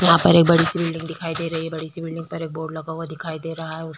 यहाँ पर एक बड़ी सी बिलडिंग दिखाई दे रही है बड़ी सी बिलडिंग पर एक बोर्ड लगा हुआ दिखाई दे रहा है।